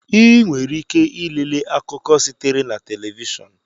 Ị nwere ike ilele akụkọ sitere na telivishọn